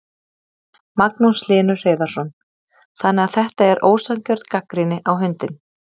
Magnús Hlynur Hreiðarsson: Þannig að þetta er ósanngjörn gagnrýni á hundinn?